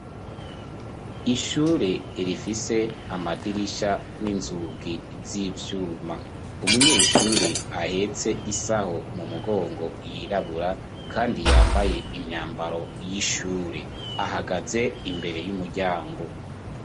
Ishure rifise amadirisha n'inzugi z'ivyuma. Umunyeshure ahetse isaho mu mugongo yirabura kandi yambaye imyambaro y'ishure. Ahagaze imbere y'umuryango;